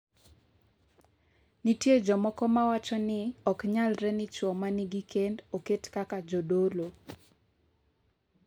Nitie jomoko ma wacho ni ok nyalre ni chwo ma nigi kend oket kaka jodolo.